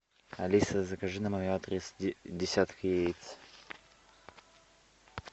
алиса закажи на мой адрес десяток яиц